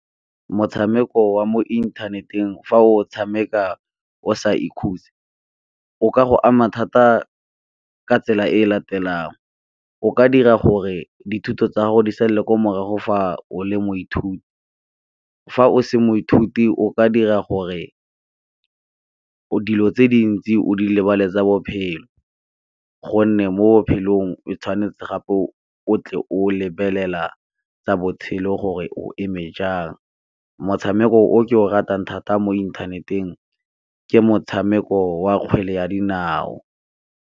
Motshameko wa mo inthaneteng fa o tshameka o sa ikhutse o ka go ama thata ka tsela e latelang, o ka dira gore dithuto tsa gago di sa le kwa morago fa o le moithuti, fa o se moithuti o ka dira gore dilo tse dintsi o di lebale tsa bophelo, gonne mo bophelong o tshwanetse gape o tle o lebelela tsa botshelo gore o eme jang. Motshameko o ke o ratang thata mo inthaneteng ke motshameko wa kgwele ya dinao.